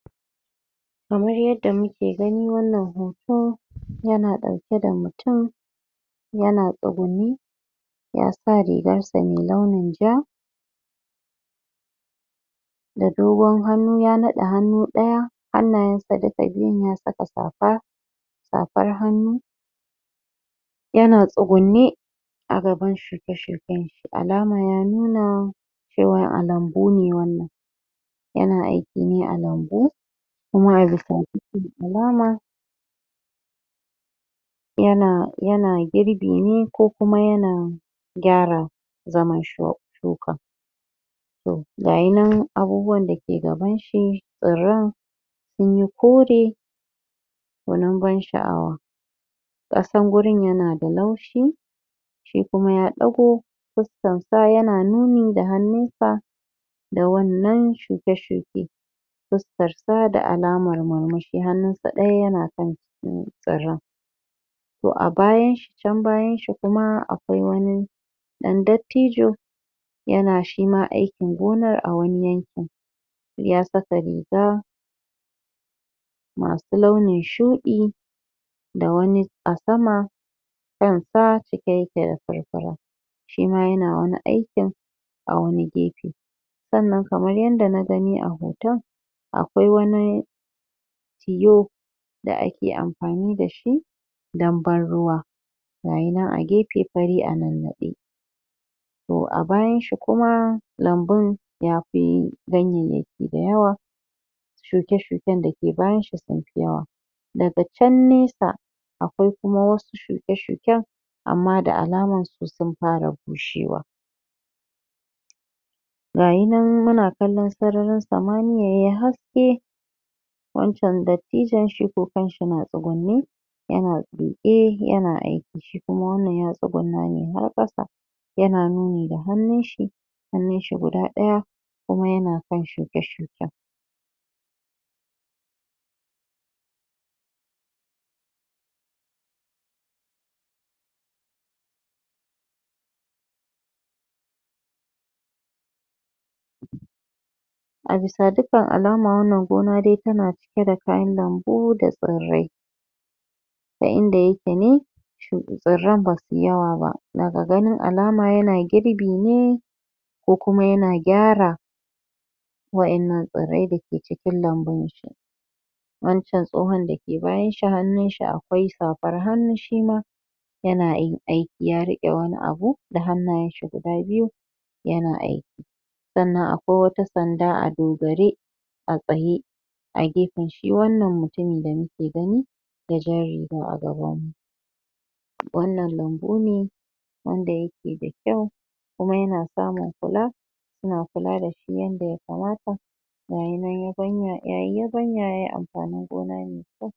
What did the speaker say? kamar yadda muke gani wannan hoto ya na dauke da mutum ya na tsugunne ya sa riagan sa mai launin ja da dogon hannu ya naɗe hannu ɗaya hannayen sa duka biyun ya saka safa safan hannu ya na tsugunne???? alaman ya nuna cewa a lambu ne wannan ya na aiki ne a lambu kuma a bisa dukkan alama ya na girbi ne ko kuma gyara zaman shukan ga yi nan abubuwan da ke gaban shi tsirran sun yi kore gwanin ban sha'awa ƙasan gurin ya na da laushi shi kuma ya ɗago fuskan sa ya na nuni da hannun sa da wannan shuke-shuke fuskar sa da alaman murmushi hannun sa ɗaya ya na kan tsirran to a bayanshi can bayan shi kuma akwai wani ɗan dattijo ya na shima aikin gona a wani yankin ya saka riga masu launin shuɗi da wani a sama kan sa cike yake da furfura shima ya na wani aikin a wani gefe sannan kamar yanda na gani a hoton akwai wani tiyo da ake amfani da shi don ban ruwa gayi nan a gefe fari a nannaɗe to abayan shi kuma lambun ya fi ganyanyaki da yawa shuke-shuken da ke bayanshi sun fi yawa daga can nesa akwai kuma wasu amma da alaman su sun fara bushewa gayi nan muna kallon sararin samaniya yayi haske wancan dattijon shi ko kanshi na tsugunne ya na duƙe ya na aiki shi kuma wannan ya tsugunna ne har ƙasa ya na nuni da hannun shi hannun shi guda ɗaya kuma ya na kan shuke-shuken a bisa dukan alama wannan gona dai ta na cike kayan lambu da tsirrai ta inda yake ne tsirran basu yi yawa ba daga gani alama ya na girbi ne ko kuma ya na gyara wa'ennan tsirrai da ke cikin lambun wancn tsohon da ke bayan shi hannun si akwai safan hannu shima ya na aiki ya riƙe wani bu da hannayen shi guda biyu ya na aiki sannan kuma akwai wata sanda a dogare a tsaye a gefen shi wannan mutumin da nake gani da jan riga a gaban mu wannan lambu ne wanda yake da kyau kuma ya na samu kula suna kula shi yanda ya kamata ga yi nan yayi yabanya yayi amfanin gona mai kyau